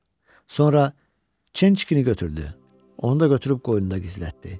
Sonra, çınçıkini götürdü, onu da götürüb qoynunda gizlətdi.